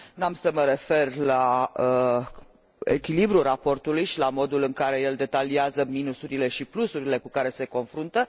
N am să mă refer la echilibrul raportului și la modul în care el detaliază minusurile și plusurile cu care se confruntă.